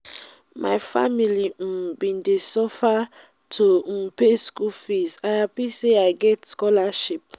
my family um bin dey suffer to um pay skool fees i hapi sey i get scholarship.